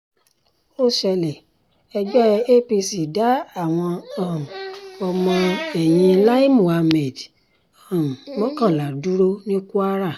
ó ṣẹlẹ̀ ẹgbẹ́ apc dá àwọn um ọmọ ẹ̀yìn lai muhammed um mọ́kànlá dúró ní kwara